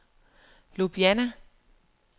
Ljubljana